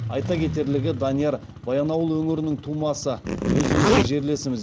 айта кетерлігі данияр баянауыл өңірінің тумасы өзіміздің жерлесіміз